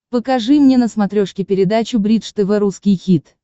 покажи мне на смотрешке передачу бридж тв русский хит